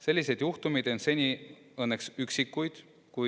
Selliseid juhtumeid on seni olnud õnneks vaid üksikuid.